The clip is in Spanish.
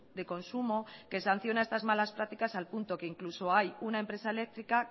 de consumo que sanciona estas malas prácticas al punto que incluso hay una empresa eléctrica